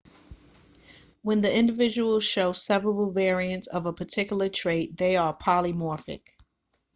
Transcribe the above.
when the individuals show several variants of a particular trait they are polymorphic